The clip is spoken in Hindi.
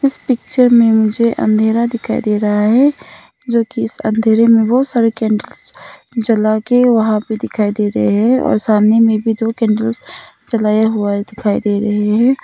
इस पिक्चर में मुझे अंधेरा दिखाई दे रहा है जो कि इस अंधेरे में बहुत सारे कैंडल्स जला के वहां पे दिखाई दे रहे हैं और सामने में भी दो कैंडल्स जलाया हुआ है दिखाई दे रहे हैं।